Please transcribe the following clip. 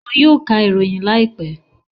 Wọn yóò ka ìròyìn láìpẹ́